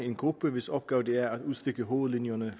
en gruppe hvis opgave det er at udstikke hovedlinjerne